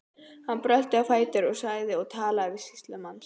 Hann brölti á fætur og sagði og talaði til sýslumanns